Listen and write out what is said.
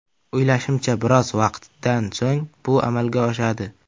O‘ylashimcha, biroz vaqtdan so‘ng bu amalga oshadi.